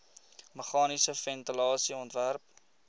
meganiese ventilasie ontwerp